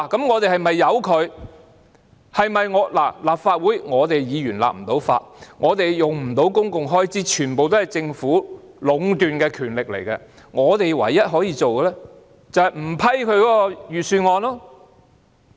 我們立法會議員不能立法，也不能使用公共開支，這全部也是由政府壟斷的權力，但我們唯一可以做的，便是不批准財政預算案。